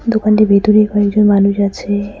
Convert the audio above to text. দোকানটির ভিতরে কয়েকজন মানুষ আছে।